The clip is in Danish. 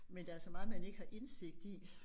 Men der er så meget man ikke har indsigt i